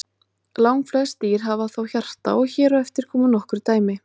Langflest dýr hafa þó hjarta og hér á eftir koma nokkur dæmi.